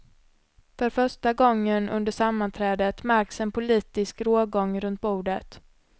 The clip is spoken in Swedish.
För första gången under sammanträdet märks en politisk rågång runt bordet.